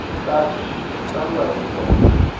xitachi xi tlangiwa hi bolo